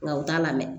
Nka u t'a lamɛn